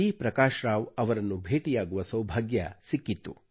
ಪ್ರಕಾಶ್ ರಾವ್ ಅವರನ್ನು ಭೇಟಿಯಾಗುವ ಸೌಭಾಗ್ಯವು ಸಿಕ್ಕಿತ್ತು